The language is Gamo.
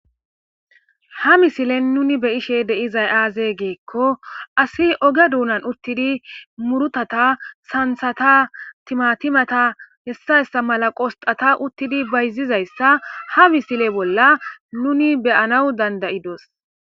Ha misilen nuni be ishe deizay aaze geekko asi oge duunan uttidi murutata santhata timatimata hessayssa mala qosxata uttidi bayzizayssa ha misile bolla nuni beyanaw dandayidos.